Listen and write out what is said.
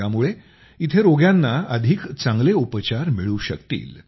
यामुळे इथं रोग्यांना अधिक चांगले उपचार मिळू शकतील